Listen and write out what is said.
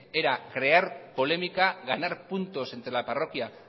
era crear polémica ganar puntos entre la parroquia